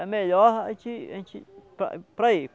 É melhor a gente a gente para para ir.